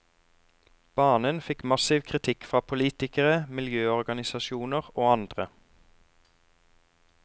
Banen fikk massiv kritikk fra politikere, miljøorganisasjoner og andre.